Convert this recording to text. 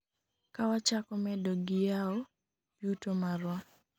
kawachako medo gi yawo yuto marwa